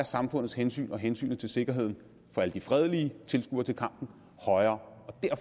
samfundets hensyn og hensynet til sikkerheden for alle de fredelige tilskuere til kampen